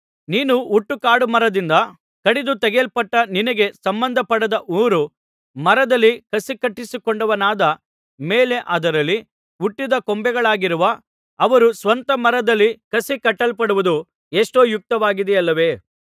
ನೀನು ಹುಟ್ಟು ಕಾಡುಮರದಿಂದ ಕಡಿದು ತೆಗೆಯಲ್ಪಟ್ಟು ನಿನಗೆ ಸಂಬಂಧಪಡದ ಊರು ಮರದಲ್ಲಿ ಕಸಿಕಟ್ಟಿಸಿಕೊಂಡವನಾದ ಮೇಲೆ ಅದರಲ್ಲಿ ಹುಟ್ಟಿದ ಕೊಂಬೆಗಳಾಗಿರುವ ಅವರು ಸ್ವಂತ ಮರದಲ್ಲಿ ಕಸಿಕಟ್ಟಲ್ಪಡುವುದು ಎಷ್ಟೋ ಯುಕ್ತವಾಗಿದೆಯಲ್ಲವೇ